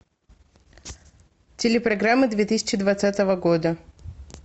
телепрограмма две тысячи двадцатого года